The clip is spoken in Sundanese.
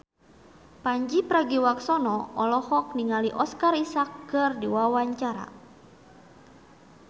Pandji Pragiwaksono olohok ningali Oscar Isaac keur diwawancara